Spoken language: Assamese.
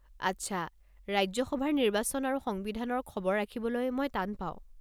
আচ্ছা। ৰাজ্য সভাৰ নিৰ্বাচন আৰু সংবিধানৰ খবৰ ৰাখিবলৈ মই টান পাওঁ।